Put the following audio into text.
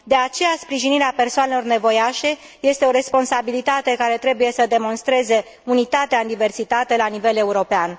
De aceea, sprijinirea persoanelor nevoiașe este o responsabilitate care trebuie să demonstreze unitatea în diversitate la nivel european.